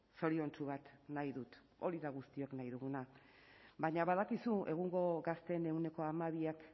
zoriontsu bat nahi dut hori da guztiok nahi duguna baina badakizu egungo gazteen ehuneko hamabiak